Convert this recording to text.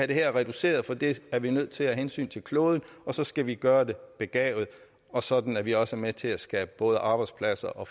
det her reduceret for det er vi nødt til af hensyn til kloden og så skal vi gøre det begavet og sådan at vi også er med til at skabe både arbejdspladser